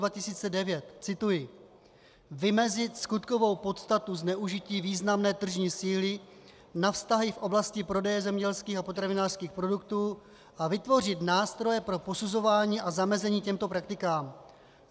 Cituji: Vymezit skutkovou podstatu zneužití významné tržní síly na vztahy v oblasti prodeje zemědělských a potravinářských produktů a vytvořit nástroje pro posuzování a zamezení těmto praktikám.